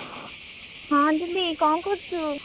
" ହଁ ଦିଦି କଣ କରୁଛୁ?"""